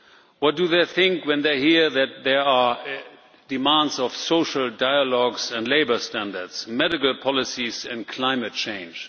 What do they think when they hear that there are demands of social dialogues and labour standards, medical policies and climate change?